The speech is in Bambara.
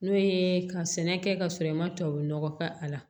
N'o ye ka sɛnɛ kɛ ka sɔrɔ i ma tubabunɔgɔ k'a la